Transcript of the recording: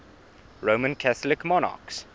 roman catholic monarchs